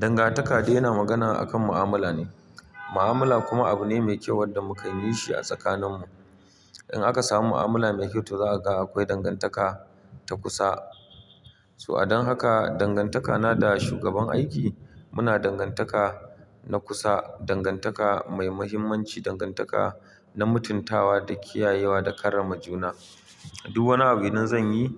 Dangantaka dai yana magana akan mu'amala ne. Mu'amala kuma abu ne mai kyau wadda mukan yi shi a tsakaninmu. In aka samu mu'amala mai kyau to za a ga akwai dangantaka ta kusa. To a dan haka dangantakana da shugaban aiki muna dangantaka na kusa, dangantaka mai muhimmanci, dangantaka na mutuntawa da kiyayewa da karrama juna. Duk wani abin idan zan yi,